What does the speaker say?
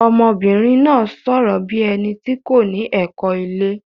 Ọmọbìnrin náà sọ̀rọ̀ bí ẹni tí kò ní ẹ̀kọ́ ilé.